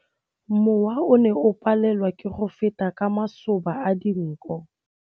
Mowa o ne o palelwa ke go feta ka masoba a dinko.